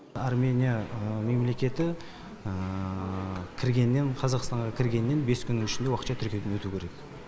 армения мемлекеті кіргеннен қазақстанға кіргеннен бес күннің ішінде уақытша тіркеуден өту керек